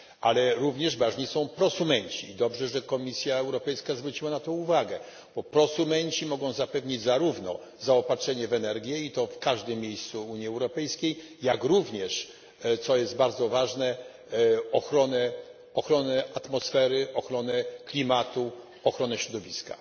Ale również ważni są prosumenci i dobrze, że Komisja Europejska zwróciła na to uwagę, bo prosumenci mogą zapewnić zarówno zaopatrzenie w energię, i to w każdym miejscu Unii Europejskiej, jak również, co jest bardzo ważne, ochronę atmosfery, ochronę klimatu i ochronę środowiska.